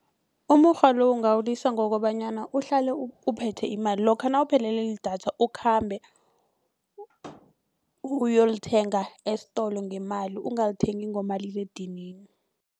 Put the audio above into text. Umukghwa lo ungawulisa ngokobanyana uhlale uphethe imali lokha nawuphelelwe lidatha ukhambe uyolithenga esitolo ngemali ungalithengi ngomaliledinini.